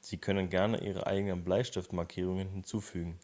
sie können gerne ihre eigenen bleistiftmarkierungen hinzufügen